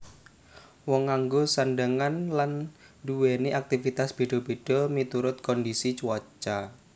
Wong nganggo sandhangan lan nduwèni aktivitas béda béda miturut kondisi cuaca